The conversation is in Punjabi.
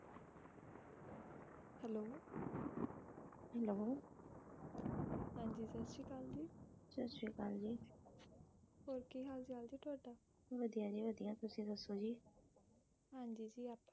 ਸਤ ਸ੍ਰੀ ਅਕਾਲਸਤ ਸ੍ਰੀ ਅਕਾਲ ਹਾਂਜੀ ਸਤ ਸ਼੍ਰੀ ਆਕਾਲ ਜੀ ਸਤ ਸ਼੍ਰੀ ਆਕਾਲ ਜੀ ਹੋਰ ਕੀ ਹਾਲ ਚਾਲ ਜੀ ਤੁਹਾਡਾ ਵੱਧੀਆ ਜੀ ਵੱਧੀਆ ਤੁਸੀ ਦਸੋਂ ਜੀ ਹਾਂਜੀ ਜੀ